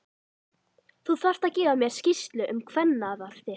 Þú þarft að gefa mér skýrslu um kvennafar þitt!